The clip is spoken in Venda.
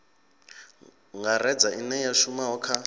ngaredza ine ya shuma kha